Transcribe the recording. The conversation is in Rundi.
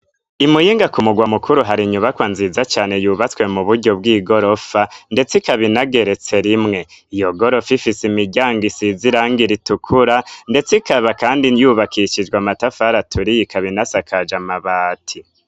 Imuyinga ku mugwa mukuru hari inyubakwa nziza cane yubatswe mu buryo bw'i gorofa, ndetse ikabinageretse rimwe iyo gorofa ifise imiryango isiziranga ritukura, ndetse ikaba, kandi nyubakishijwe amatafaraturiyikabinasakaje amabati.